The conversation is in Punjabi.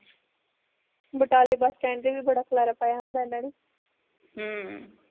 ਬਟਾਲੇ bus stand ਤੇ ਵੀ ਬੜਾ ਖਲਾਰਾਂ ਪਾਇਆ ਹੁੰਦਾ ਇਹਨਾਂ ਨੇ ਹਮ